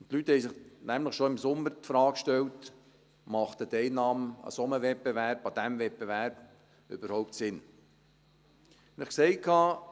Und die Leute haben sich nämlich schon im Sommer die Frage gestellt, ob die Teilnahme an einem solchen Wettbewerb, an diesem Wettbewerb überhaupt Sinn ergibt.